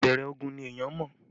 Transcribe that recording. Ìbẹ̀rẹ̀ ogun ni èèyàn ń mọ